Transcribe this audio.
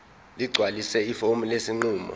ligcwalise ifomu lesinqumo